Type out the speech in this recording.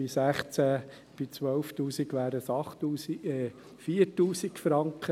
Bei 12 000 Franken wären es 8000 Franken, sorry, 4000 Franken.